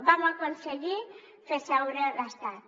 vam aconseguir fer seure l’estat